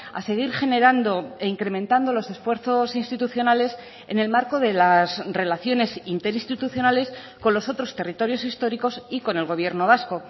a seguir generando e incrementando los esfuerzos institucionales en el marco de las relaciones interinstitucionales con los otros territorios históricos y con el gobierno vasco